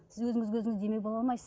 сіз өзіңізге өзіңіз демеу бола алмайсыз